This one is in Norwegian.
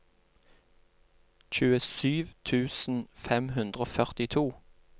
tjuesju tusen fem hundre og førtito